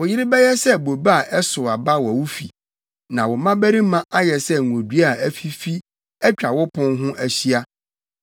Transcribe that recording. Wo yere bɛyɛ sɛ bobe a ɛsow aba wɔ wo fi; na wo mmabarima ayɛ sɛ ngodua a afifi atwa wo pon ho ahyia.